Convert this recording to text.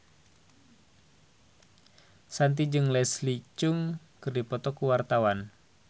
Shanti jeung Leslie Cheung keur dipoto ku wartawan